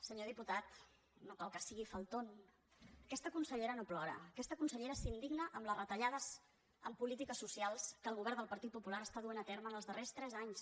senyor diputat no cal que sigui faltónaquesta consellera s’indigna amb les retallades en polítiques socials que el govern del partit popular està duent a terme en els darrers tres anys